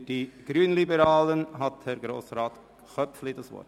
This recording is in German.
Für die Grünliberalen hat Grossrat Köpfli das Wort.